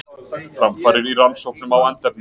Framfarir í rannsóknum á andefni